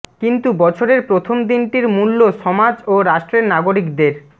কিন্তু বছরের প্রথম দিনটির মূল্য সমাজ ও রাষ্ট্রের নাগরিকদের